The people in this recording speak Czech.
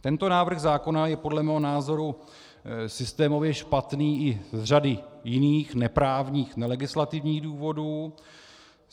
Tento návrh zákona je podle mého názoru systémově špatný i z řady jiných, neprávních, nelegislativních důvodů.